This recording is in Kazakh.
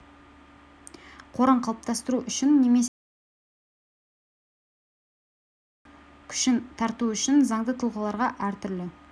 қорын қалыптастыру үшін немесе ставкалары айтарлықтай төмен шетелдік жұмыс күшін тарту үшін заңды тұлғаларға әртүрлі